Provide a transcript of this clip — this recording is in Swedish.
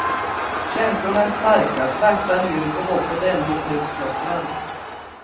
Känslorna är starka, svärtan djup och hoppet ännu inte utslocknad.